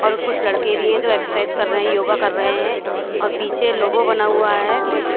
और कुछ लड़के भी हैं जो एक्सरसाइज कर रहे हैं योगा कर रहे हैं और पीछे लोगो बना हुआ है।